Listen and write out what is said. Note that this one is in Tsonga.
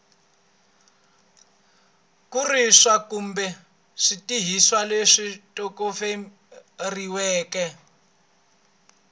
kurisa kumbe switirhisiwa leswi tshoveriweke